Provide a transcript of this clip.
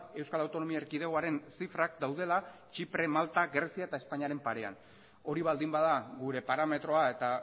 euskal autonomia erkidegoaren zifrak daudela txipre malta grezia eta espainiaren parean hori baldin bada gure parametroa eta